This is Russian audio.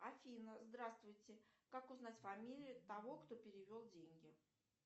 афина здравствуйте как узнать фамилию того кто перевел деньги